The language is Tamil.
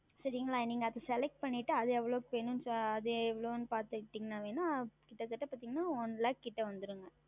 சரிங்களா நீங்கள் அதை Select செய்து விட்டு அது எவ்வளவுக்கு வேண்டும் என்று அது எவ்வளவு பார்த்தீர்கள் என்றால் வேண்டும் ஆனால் கிட்ட தட்ட பார்த்தீர்கள் என்றால் One Lakh பக்கம் வரும்